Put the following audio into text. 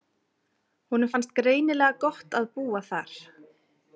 Honum fannst greinilega gott að búa þar.